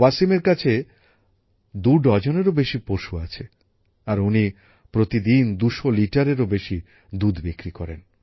ওয়াসিমের কাছে দুডজনেরও বেশি পশু আছে আর উনি প্রতিদিন ২০০ লিটারেরও বেশি দুধ বিক্রি করেন